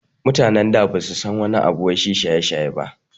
Mutanen da basu san wani abu wai shi shaye-shaye ba